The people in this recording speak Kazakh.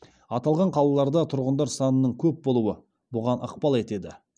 аталған қалаларда тұрғындар санының көп болуы бұған ықпал етеді